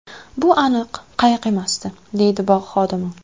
Bu aniq qayiq emasdi”, deydi bog‘ xodimi.